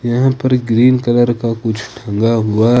यहां पर green colour का कुछ लगा हुआ ।